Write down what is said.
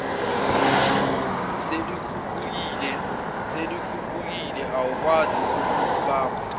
seluphukile awukwazi ukulubumba